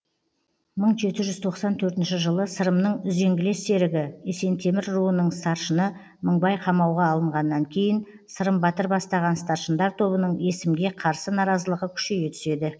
мың жеті жүз тоқсан төртінші жылы сырымның үзеңгілес серігі есентемір руының старшыны мыңбай қамауға алынғаннан кейін сырым батыр бастаған старшындар тобының есімге қарсы наразылығы күшейе түседі